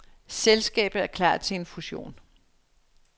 Selskabet er klar til en fussion.